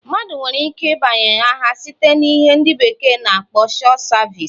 Mmadụ nwere ike ịbanye agha site na ihe ndi beekee na akpo short service.